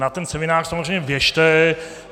Na ten seminář samozřejmě běžte.